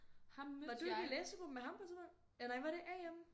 Var du ikke i læsegruppe med ham på et tidspunkt? Eller nej var det Am?